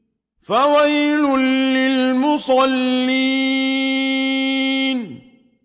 فَوَيْلٌ لِّلْمُصَلِّينَ